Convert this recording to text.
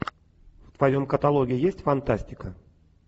в твоем каталоге есть фантастика